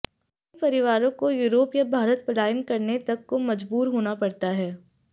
कई परिवारों को यूरोप या भारत पलायन करने तक को मजबूर होना पड़ता है